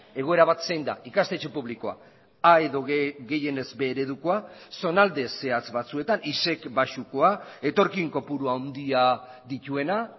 egoera bat zein da ikastetxe publikoa a edo gehienez b eredukoa zonalde zehatz batzuetan isec baxukoa etorkin kopuru handia dituena